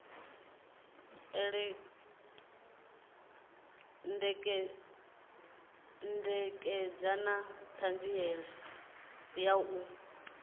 ṋekedza na ṱhanziela ya u